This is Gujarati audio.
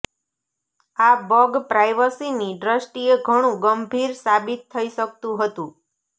આ બગ પ્રાઇવસીની દ્રષ્ટીએ ઘણું ગંભીર સાબિત થઇ શકતું હતું